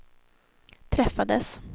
träffades